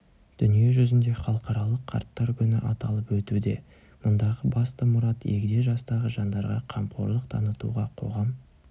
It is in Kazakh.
дүние жүзінде халықаралық қарттар күні аталып өтуде мұндағы басты мұрат егде жастағы жандарға қамқорлық танытуға қоғам